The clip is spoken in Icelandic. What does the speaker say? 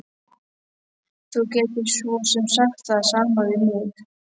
Þú gætir svo sem sagt það sama við mig.